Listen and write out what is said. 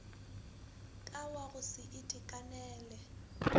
ka wa go se itekanele